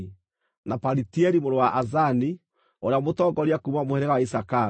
na Palitieli mũrũ wa Azani, ũrĩa mũtongoria kuuma mũhĩrĩga wa Isakaru;